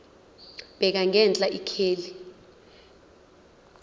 bheka ngenhla ikheli